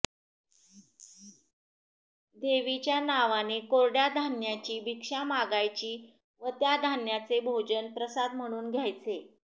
देवीच्या नावाने कोरड्या धान्याची भिक्षा मागायची व त्या धान्याचे भोजन प्रसाद म्हणून घ्यायचे